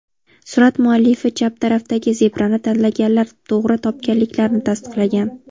Surat muallifi chap tarafdagi zebrani tanlaganlar to‘g‘ri topganliklarini tasdiqlagan.